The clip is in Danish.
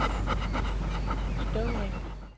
Støvring